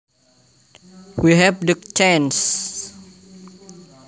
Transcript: We have the chance